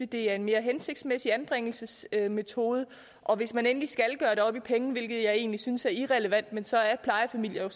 det er en mere hensigtsmæssig anbringelsesmetode og hvis man endelig skal gøre det op i penge hvilket jeg egentlig synes er irrelevant så er plejefamilier